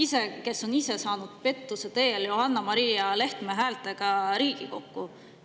Samas on ta ise saanud tänu pettusele, tänu Johanna-Maria Lehtme häältele Riigikokku.